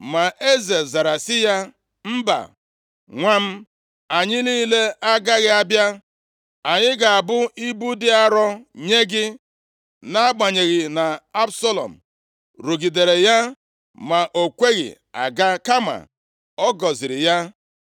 Ma eze zara sị ya, “Mba, nwa m, anyị niile agaghị abịa, anyị ga-abụ ibu dị arọ nye gị.” Nʼagbanyeghị na Absalọm rugidere ya ma o kweghị aga, kama ọ gọziri ya.